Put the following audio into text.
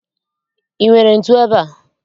I nwere ntu ebea?